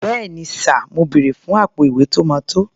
Bẹ́ẹ̀ni sà, mo bèrè fún àpò-ìwé tó máa tó.